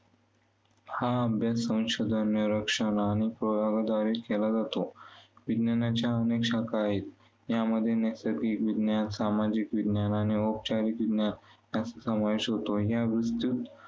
हा अभ्यास संशोधन, निरीक्षण आणि प्रयोगाद्वारे केला जातो. विज्ञानाच्या अनेक शाखा आहेत. यामध्ये नैसर्गिक विज्ञान, सामाजिक विज्ञान आणि औपचारिक विज्ञान यांचा समावेश होतो. या विस्तृत